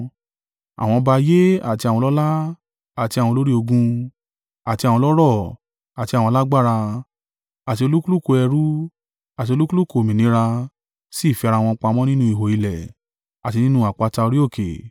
Àwọn ọba ayé àti àwọn ọlọ́lá àti àwọn olórí ogun, àti àwọn ọlọ́rọ̀ àti àwọn alágbára, àti olúkúlùkù ẹrú, àti olúkúlùkù òmìnira, sì fi ara wọn pamọ́ nínú ihò ilẹ̀, àti nínú àpáta orí òkè;